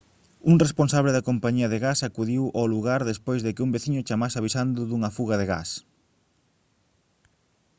un responsable da compañía de gas acudiu ao lugar despois de que un veciño chamase avisando dunha fuga de gas